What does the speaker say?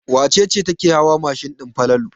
Wace ce take hawa mashin din Falalu?